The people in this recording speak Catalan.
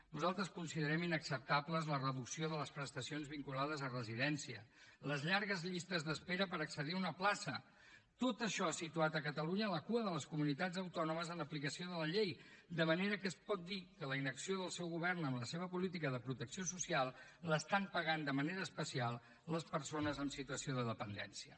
nosaltres considerem inacceptables la reducció de les prestacions vinculades a residència les llargues llistes d’espera per accedir a una plaça tot això ha situat a catalunya a la cua de les comunitats autònomes en l’aplicació de la llei de manera que es pot dir que la inacció del seu govern amb la seva política de protecció social l’estan pagant de manera especial les persones en situació de dependència